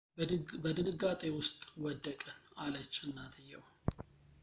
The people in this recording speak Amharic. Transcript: "በድንጋጤ ውስጥ ወደቅን፣ አለች እናትየው።